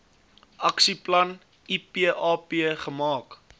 aksieplan ipap gemaak